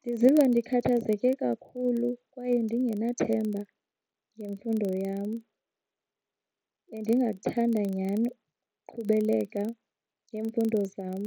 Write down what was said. Ndiziva ndikhathazeke kakhulu kwaye ndingenathemba ngemfundo yam. Bendingathanda nyhani uqhubeleka ngemfundo zam.